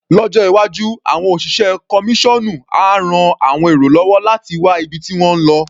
Lọ́jọ́ iwájú, àọn òṣìṣẹ́ kọmíṣọ́ọ̀nú á ran àwọn èrò lọ́wọ́ láti wá ibi tí wọ́n ń lo.